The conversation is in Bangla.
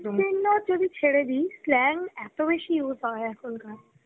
scene তো ছেড়ে দিস slang এত বেশি ভাবে use হয় এখন.